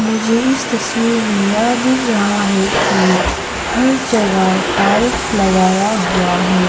मुझे इस तस्वीर में यह दिख रहा है कि हर जगह टाइल्स लगाया हुआ है।